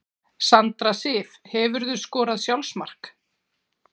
Sandra Sif Hefurðu skorað sjálfsmark?